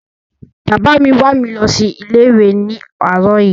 Bàbá mi wà mi lọ sí ilé ìwé ni àróò yí